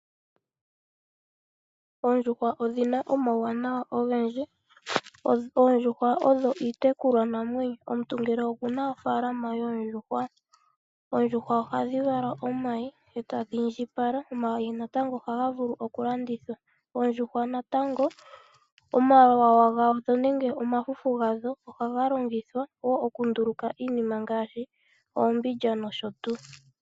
Oondjuhwa odhina omawuwanawa ogendji. Oondjuhwa odho iitekulwa namwenyo. Omuntu ngele okuna ofaalama yoondjuhwa oondjuhwa ohadhi vala omayi etadhi indjipala. Omayi natango ohaga vulu oku landithwa. Oondjuhwa natango omalwenya gadho nenge omafufu gadho ohaga longwa woo oku nduluka iinima ngaashi oombindja nosho tuu.